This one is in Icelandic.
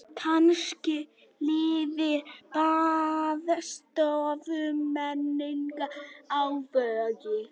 Kannski lifir baðstofumenningin á Vogi.